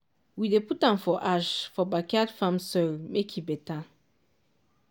we dey put am for ash for backyard farm soil make e better.